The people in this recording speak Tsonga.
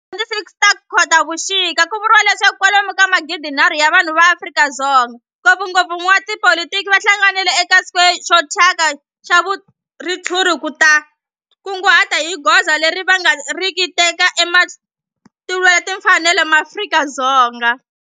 Hi ti 26 Khotavuxika ku vuriwa leswaku kwalomu ka magidinharhu wa vanhu va Afrika-Dzonga, ngopfungopfu van'watipolitiki va hlanganile eka square xo thyaka xa ritshuri ku ta kunguhata hi goza leri va nga ta ri teka ku lwela timfanelo ta maAfrika-Dzonga.